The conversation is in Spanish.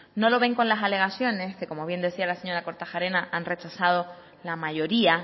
no lo ven con las alegaciones que como bien decía la señora kortajarena han rechazado la mayoría